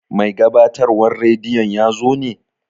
Mai gabatarwan radiyon yazo ne?